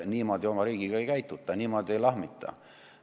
Niimoodi oma riigiga ei käituta, niimoodi ei lahmita.